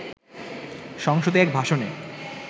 সংসদে এক ভাষণে